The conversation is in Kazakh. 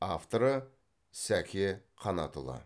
авторы сәке қанатұлы